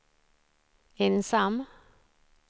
ensam